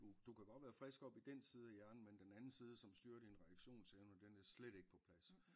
Du du kan godt være frisk oppe i den side af hjernen men den anden side som styrer din reaktionsevne den er slet ikke på plads